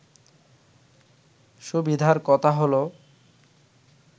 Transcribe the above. সুবিধার কথা হলো